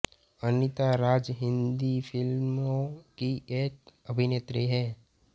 अनीता राज हिन्दी फ़िल्मों की एक अभिनेत्री हैं